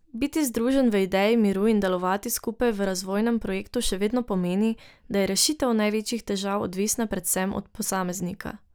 Biti združen v ideji miru in delovati skupaj v razvojnem projektu še vedno pomeni, da je rešitev največjih težav odvisna predvsem od posameznika.